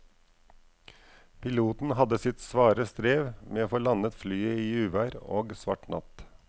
Piloten hadde sitt svare strev med å få landet flyet i uvær og svart natt.